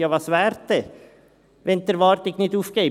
Ja, was wäre dann, wenn die Erwartung nicht aufgeht?